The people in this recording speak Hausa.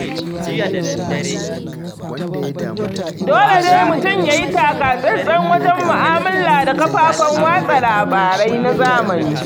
Dole dai mutum ya yi takatsantsan wajen mu'amala da kafafen watsa labarai na zamani.